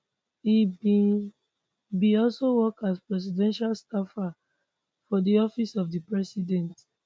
e bin bin also work as presidential staffer for di office of di president